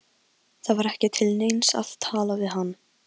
Það var ekki til neins að tala við hann.